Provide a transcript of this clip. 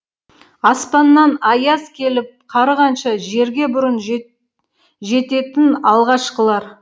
аспаннан аяз келіп қарығанша жерге бұрын жет жететін алғашқылар